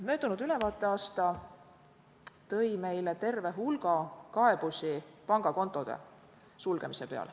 Möödunud ülevaateaasta tõi meile terve hulga kaebusi pangakontode sulgemise kohta.